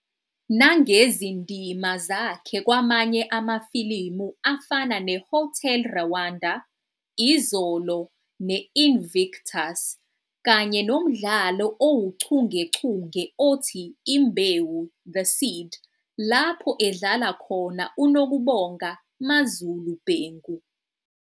nangezindima zakhe kwamanye amafilimu afana "neHotel Rwanda", "Izolo" ne- "Invictus",kanye nomdlalo owuchungechunge othi Imbewu- The Seed lapho edlala khona uNokubonga "MaZulu" Bhengu.